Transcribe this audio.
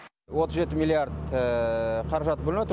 отыз жеті миллиард қаражат бөлініп отыр